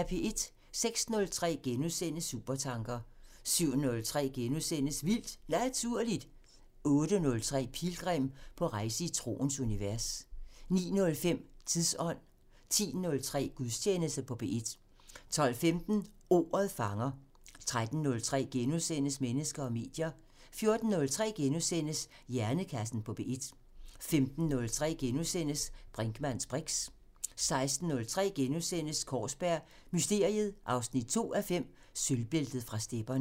06:03: Supertanker * 07:03: Vildt Naturligt * 08:03: Pilgrim – på rejse i troens univers 09:05: Tidsånd 10:03: Gudstjeneste på P1 12:15: Ordet fanger 13:03: Mennesker og medier * 14:03: Hjernekassen på P1 * 15:03: Brinkmanns briks * 16:03: Kaarsberg Mysteriet 2:5 – Sølvbæltet fra stepperne *